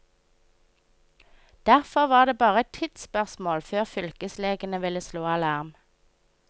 Derfor var det bare et tidsspørsmål før fylkeslegene ville slå alarm.